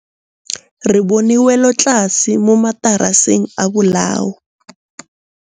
Re bone wêlôtlasê mo mataraseng a bolaô.